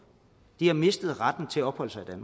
de har mistet retten til at opholde sig i